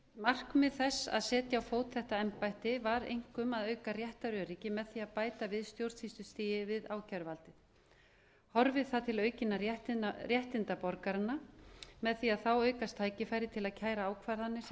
markmið þess að setja á fót þetta embætti var einkum að auka réttaröryggi með því að bæta við stjórnsýslustigið við ákæruvaldið horfi það til aukinna réttinda borgaranna með því að þá aukast tækifæri til að kæra ákvarðanir sem